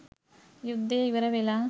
යුද්ධය ඉවරවෙලා